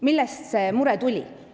Millest see mure oli tekkinud?